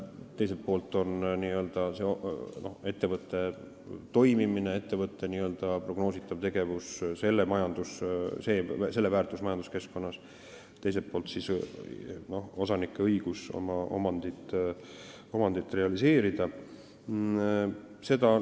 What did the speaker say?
Ühel pool on ettevõtte toimimine, tema n-ö prognoositav tegevus ja selle väärtus majanduskeskkonnas, teisel pool on osaniku õigus oma omandit realiseerida.